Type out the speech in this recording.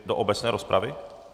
Vy do obecné rozpravy?